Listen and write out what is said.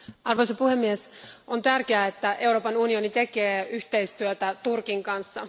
Arvoisa puhemies, on tärkeää, että Euroopan unioni tekee yhteistyötä Turkin kanssa.